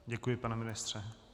Děkuji, pane ministře.